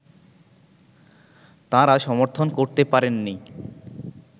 তাঁরা সমর্থন করতে পারেননি